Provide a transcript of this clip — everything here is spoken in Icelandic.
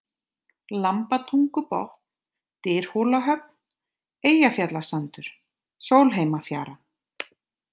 Lambatungubotn, Dyrhólahöfn, Eyjafjallasandur, Sólheimafjara